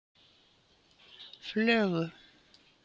Flögu